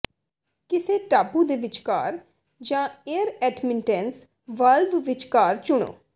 ਕਿਸੇ ਟਾਪੂ ਦੇ ਵਿਚਕਾਰ ਜਾਂ ਏਅਰ ਐਟਮਿਟੈਂਸ ਵਾਲਵ ਵਿਚਕਾਰ ਚੁਣੋ